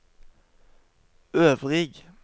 øvrig